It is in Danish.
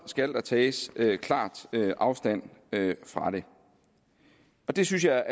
skal der tages klart afstand fra det det synes jeg